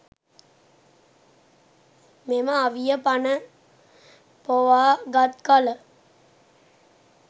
මෙම අවිය පණ පොවා ගත් කල